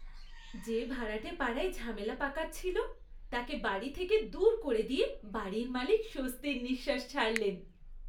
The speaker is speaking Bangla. যে ভাড়াটে পাড়ায় ঝামেলা পাকাচ্ছিল তাকে বাড়ি থেকে দূর করে দিয়ে বাড়ির মালিক স্বস্তির নিঃশ্বাস ছাড়লেন!